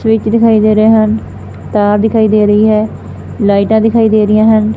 Switch ਦਿਖਾਈ ਦੇ ਰਹੇ ਹਨ ਤਾਰ ਦਿਖਾਈ ਦੇ ਰਹੀ ਹੈ ਲਾਈਟਾਂ ਦਿਖਾਈ ਦੇ ਰਹੀਆਂ ਹਨ।